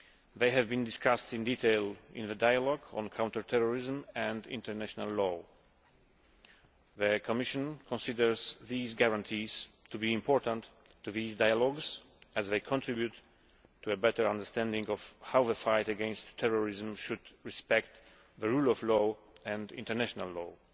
They have been discussed in detail in the dialogue on counter terrorism and international law. The Commission considers these guarantees to be important to this dialogue, as they contribute to a better understanding of how the fight against terrorism should respect the rule of law and international law,